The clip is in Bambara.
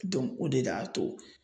o de da to